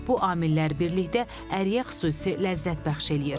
Bu amillər birlikdə əriyə xüsusi ləzzət bəxş eləyir.